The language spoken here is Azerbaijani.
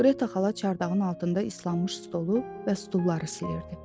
Gretta xala çardağın altında islanmış stolu və stulları silirdi.